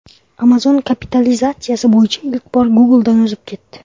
Amazon kapitalizatsiyasi bo‘yicha ilk bor Google’dan o‘zib ketdi.